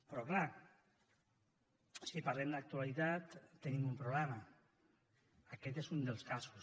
però clar si parlem d’actualitat tenim un problema aquest és un dels casos